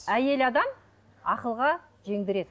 әйел адам ақылға жеңдіреді